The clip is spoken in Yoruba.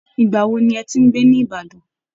Ìgbà wo ni ẹ ti ń gbé ní ìbàdàn